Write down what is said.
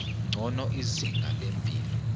ngcono izinga lempilo